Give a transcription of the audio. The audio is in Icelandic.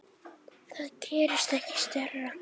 Það gerist ekki stærra.